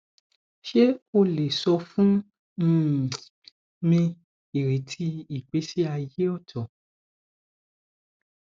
ṣe o le sọ fun um mi ireti igbesi aye ooto